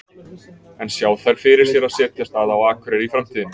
En sjá þær fyrir sér að setjast að á Akureyri í framtíðinni?